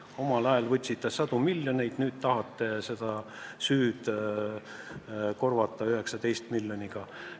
Omal ajal võtsite sadu miljoneid, nüüd tahate seda süüd heastada 19 miljoniga.